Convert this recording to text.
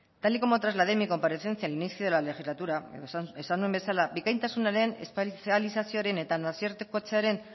tal y como trasladé en mi comparecencia al inicio de la legislatura esan nuen bezala bikaintasunaren espezializazioaren eta nazioartekotzearen